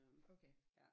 Okay